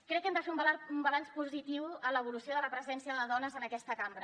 crec que hem de fer un balanç positiu en l’evolució de la presència de dones en aquesta cambra